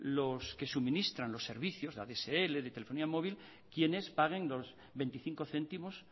los que suministran los servicios de adsl de telefonía móvil quienes paguen los veinticinco céntimos